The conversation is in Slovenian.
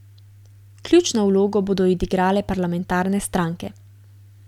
Ključno vlogo bodo odigrale parlamentarne stranke.